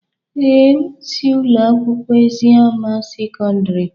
Ee, m si Ụlọ akwụkwọ Eziama sekọndrị.